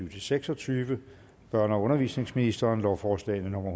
og seks og tyve børne og undervisningsministeren lovforslag nummer